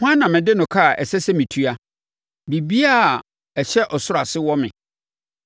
Hwan na mede no ka a ɛsɛ sɛ metua? Biribiara a ɛhyɛ ɔsoro ase wɔ me.